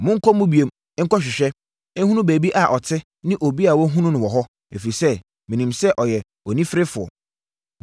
Monkɔ mu bio, nkɔhwehwɛ, nhunu baabi a ɔte ne obi a wahunu no wɔ hɔ, ɛfiri sɛ, menim sɛ ɔyɛ oniferefoɔ.